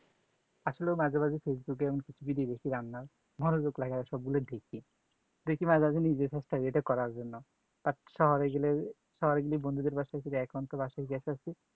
আসলে মাঝে মাঝে facebook এ video দেখছি রান্না মনযোগ লাগায়ে সব গুলি দেখি দেখি মাঝে মাঝে নিজে চেষ্টা করার জন্য আর শহরে গেলে বন্ধুদের